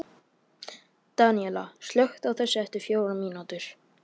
Daníela, slökktu á þessu eftir fjórar mínútur.